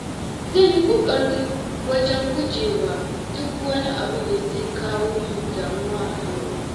Zan yi ƙoƙari wajen gujewa duk wani abu da zai kawo min damuwa a yau.